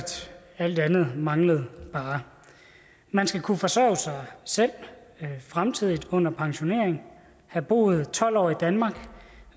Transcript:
alt andet bare manglede man skal kunne forsørge sig selv fremtidigt under pensionering have boet tolv år i danmark